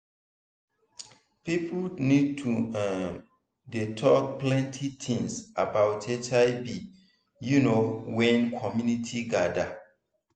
people need to um dey talk plenty things about hiv you know wen community gather